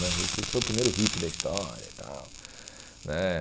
né Jesus Cristo foi o primeiro hippie da história tal né.